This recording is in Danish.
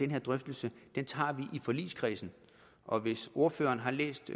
her drøftelse tager vi i forligskredsen og hvis ordføreren har læst